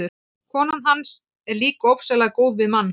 Konan hans er líka ofsalega góð við mann.